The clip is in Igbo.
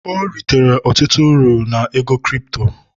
ọ ritere ọtụtụ uru na ego kirito